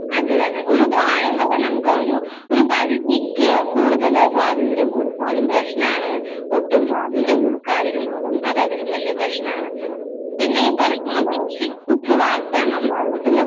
അത് തന്നെ ഒരു പ്രായം വരെ നമുക്ക് ആ ഒരു ഒരു പരിധിക്ക് കൂടുതല് സ്വാതന്ത്ര്യം കൊടുത്താലും പ്രശ്നമാണ് ഒട്ടും സ്വാതന്ത്ര്യം കൊടുക്കാതിരുന്നാലും അത് അതിലും വലിയ പ്രശ്നമാണ് പിന്നെ ഈ പറയുന്നത് പോലെ ശിക്ഷിച്ച് വളര്‍ത്തുന്ന